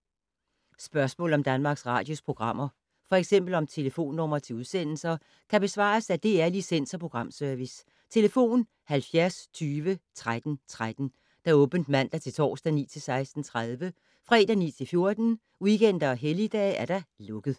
Spørgsmål om Danmarks Radios programmer, f.eks. om telefonnumre til udsendelser, kan besvares af DR Licens- og Programservice: tlf. 70 20 13 13, åbent mandag-torsdag 9.00-16.30, fredag 9.00-14.00, weekender og helligdage: lukket.